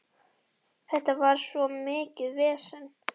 Þetta var svo mikið vesen.